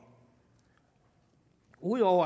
ud over